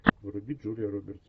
вруби джулия робертс